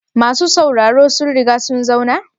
Masu sauraro sun riga sun zauna?